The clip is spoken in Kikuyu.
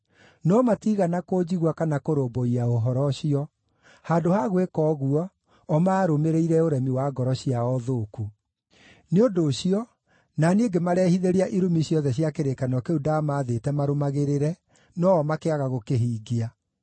No matiigana kũnjigua kana kũrũmbũiya ũhoro ũcio; handũ ha gwĩka ũguo, o maarũmĩrĩire ũremi wa ngoro ciao thũku. Nĩ ũndũ ũcio na niĩ ngĩmarehithĩria irumi ciothe cia kĩrĩkanĩro kĩu ndaamaathĩte marũmagĩrĩre no-o makĩaga gũkĩhingia.’ ”